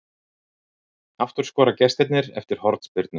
Aftur skora gestirnir eftir hornspyrnu